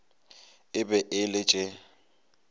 e be e le tše